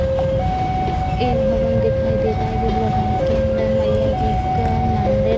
एक भवन दिखाई दे रहा है जिस भवन के अंदर मैया जी का मंदिर --